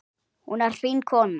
Hún er fín kona.